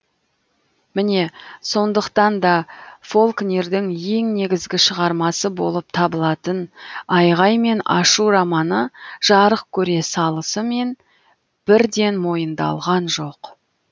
міне сондықтан да фолкнердің ең негізгі шығармасы болып табылатын айғай мен ашу романы жарық көре салысымен бірден мойындалған жоқ